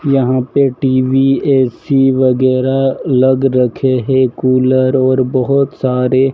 यहां पे TV AC वगैरा लगा रखे हैं कुलर और बहोत सारे--